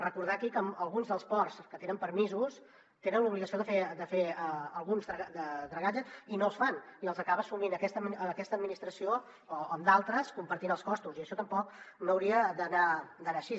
recordar aquí que alguns dels ports que tenen permisos tenen l’obligació de fer alguns dragatges i no es fan i els acaba assumint aquesta administració o d’altres compartint ne els costos i això tampoc no hauria d’anar així